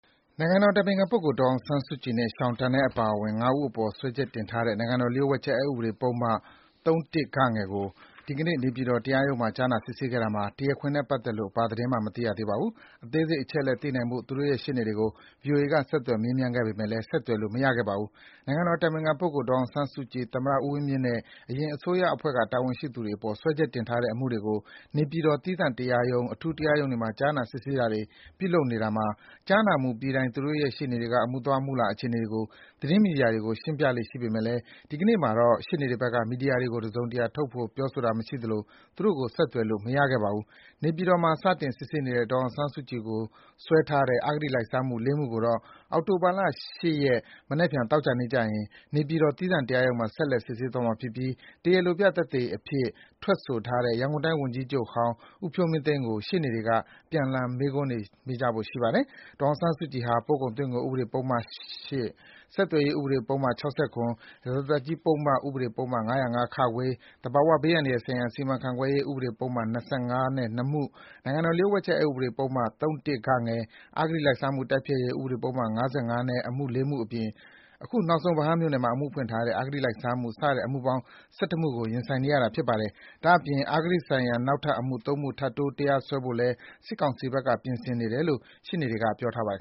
နိုင်ငံတော်အတိုင်ပင်ခံပုဂ္ဂိုလ် ဒေါ်အောင်ဆန်းစုနဲ့ Sean Turnell အပါ ငါးဦးအပေါ် စွဲချက်တင်ထားတဲ့ နိုင်ငံတော်လျှို့ဝှက်ချက် အက်ဥပဒေပုဒ်မ ၃-၁ (ဂ) အမှုကို ဒီကနေ့ နေပြည်တော် တရားရုံးမှာ ကြားနာ စစ်ဆေးခဲ့တာမှာ ဒီတရားခွင်နဲ့ပတ်သက်လို့ ဘာသတင်းမှ မသိရပါဘူး။ အသေးစိတ်အချက်အလက် သိနိုင်ဖို့ သူတို့ရဲ့ ရှေ့နေတွေကို ဆက်သွယ် မေးမြန်းခဲ့ပေမယ့်လည်း ဆက်သွယ်လို့ မရခဲ့ပါဘူး။ နိုင်ငံတော်အတိုင်ပင်ခံပုဂ္ဂိုလ် ဒေါ်အောင်ဆန်းစုကြည်၊ သမ္မတဦးဝင်းမြင့်နဲ့ အရင်အစိုးရအဖွဲ့က တာဝန် ရှိသူတွေအပေါ် စွဲချက်တင်ထားတဲ့အမှုတွေကို နေပြည်တော် သီးသန့်တရားရုံး၊ အထူးတရားရုံးတွေမှာ ကြားနာ စစ်ဆေးတာတွေ ပြုလုပ်နေတာမှာ ကြားနာမှုပြီးတိုင်း သူတို့ရဲ့ရှေ့နေတွေက အမှုသွား အမှုလာအခြေအနေတွေကို သတင်းမီဒီယာတွေကို ရှင်းပြပေးလေ့ရှိပေမယ့် ဒီကနေ့မှာတော့ ရှေ့နေတွေဘက်က မီဒီယာတွေကို တစုံတရာ ထုတ်ဖော် ပြောဆိုတာမရှိသလို သူတို့ကို ဆက်သွယ် လို့လည်း မရခဲ့ပါဘူး။ နေပြည်တော်မှာ စတင်စစ်ဆေးနေတဲ့ ဒေါ်အောင်ဆန်းစုကြည်ကိုစွဲထားတဲ့ အဂတိလိုက်စားမှု ၄ မှု ကိုတော့ အောက်တိုဘာ ၈ ရက် မနက်ဖြန် သောကြာနေ့ကျရင် နေပြည်တော် သီးသန့်တရားရုံးမှာ ဆက်လက်စစ်ဆေးသွားမှာဖြစ်ပြီး တရားလိုပြသက်သေအဖြစ် ထွက်ဆိုထားတဲ့ ရန်ကုန်တိုင်း ဝန်ကြီးချုပ်ဟောင်း ဦးဖြိုးမင်းသိန်းကို ရှေ့နေတွေက ပြန်လှန်မေးခွန်းတွေ မေးမြန်းဖို့ရှိပါတယ်။ ဒေါ်အောင်ဆန်းစုကြည်ဟာ ပို့ကုန်သွင်းကုန်ဥပဒေ ပုဒ်မ ၈၊ ဆက်သွယ်ရေး ဥပဒေ ပုဒ်မ ၆၇၊ ရာဇသတ်ကြီး ဥပဒေ ပုဒ်မ ၅၀၅-ခ၊ သဘာဝဘေး အန္တရာယ်ဆိုင်ရာစီမံခန့်ခွဲရေး ဥပဒေပုဒ်မ ၂၅ နဲ့ (၂) မှု၊ နိုင်ငံတော်လျှို့ဝှက်ချက် အက်ဥပဒေပုဒ်မ ၃-၁ (ဂ) ၊ အဂတိလိုက်စားမှုတိုက်ဖျက်ရေး ဥပဒေပုဒ်မ ၅၅ နဲ့ အမှု ၄ မှုအပြင် ခုနောက်ဆုံး ဗဟန်းမြို့နယ်မှာ အမှုဖွင့်ထားတဲ့ အဂတိလိုက်စားမှု စတဲ့ အမှုပေါင်း ၁၁ မှုနဲ့ ရင်ဆိုင်နေရတာဖြစ်ပါတယ်။ ဒါ့အပြင် အဂတိဆိုင်ရာ နောက်ထပ် အမှု ၃ မှု ထပ်တိုး စွဲဆိုဖို့လည်း စစ်ကောင်စီဘက်က ပြင်ဆင်နေတယ်လို့ ရှေ့နေတွေက ပြောထားပါတယ်